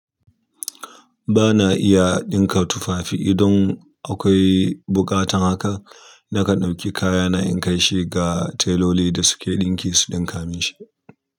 Ba na iya ɗinka tufafi idan akwai buƙatan haka, nakan ɗauki kayana in kai shi ga teloli da suke ɗinki su ɗinka min shi.